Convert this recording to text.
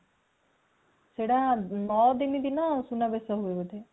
ସେଟ ନଅ ଦିନ ଦିନ ସୁନା ବେସ ହୁଏ ବୋଧେ